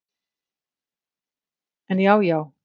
En já já.